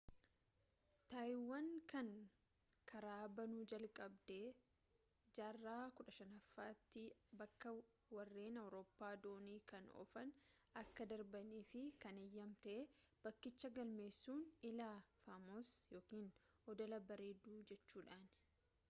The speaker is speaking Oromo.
taayiwaan kan karaa banuu jalqabde jaarraa 15ffaatti bakka warreen awuuroppa doonii kan oofan akka darbaanif kan eeyyamte bakkicha galmeessuun iiha fomosa ykn oddola barreedduu jechuudhaani